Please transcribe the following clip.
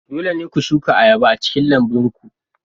Dole ne ku shuka ayaba a cikin lambun ku.